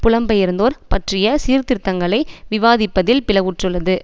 புலம்பெயர்ந்தோர் பற்றிய சீர்திருத்தங்களை விவாதிப்பதில் பிளவுற்றுள்ளது